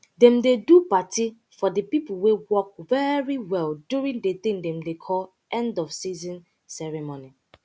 dem dey do party for de pipo wey work very well during de tin dem dey call end of season ceremony